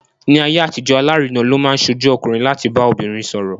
Ní ayé àtijọ́, alárinà ló máa ń ṣojú ọkùnrin láti bá obìnrin sọ̀rọ̀.